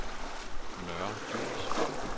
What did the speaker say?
Nørre Djurs